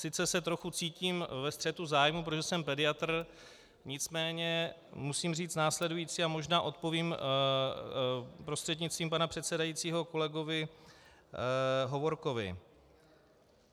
Sice se trochu cítím ve střetu zájmů, protože jsem pediatr, nicméně musím říct následující, a možná odpovím prostřednictvím pana předsedajícího kolegovi Hovorkovi.